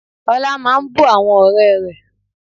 Ọlá máa ń bú àwọn ọ̀rẹ́ rẹ̀